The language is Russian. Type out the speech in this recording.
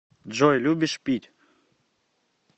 джой любишь пить